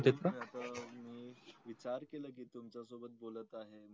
आता मी स्वीकार केल कि मी तुमचा सोबत बोलत आहे